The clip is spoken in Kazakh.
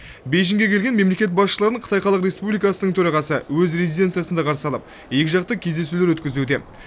бейжіңге келген мемлекет басшыларын қытай халық республикасының төрағасы өз резиденциясында қарсы алып екіжақты кездесулер өткізуде